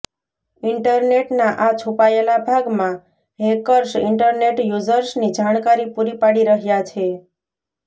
ઈન્ટરનેટના આ છુપાયેલા ભાગમાં હૈકર્સ ઈન્ટરનેટ યુઝર્સની જાણકારી પુરી પાડી રહ્યા છે